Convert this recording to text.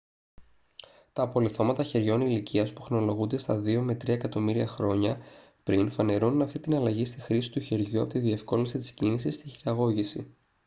τα απολιθώματα χεριών ηλικίας που χρονολογούνται στα 2-3 εκατομμύρια χρόνια πριν φανερώνουν αυτή την αλλαγή στη χρήση του χεριού από τη διευκόλυνση της κίνησης στη χειραγώγηση